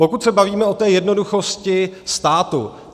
Pokud se bavíme o té jednoduchosti státu.